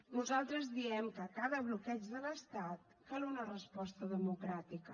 nosaltres diem que a cada bloqueig de l’estat cal una resposta democràtica